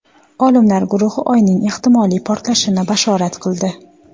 Olimlar guruhi Oyning ehtimoliy portalishini bashorat qildi.